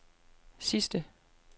sidste